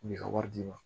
U b'i ka wari d'i ma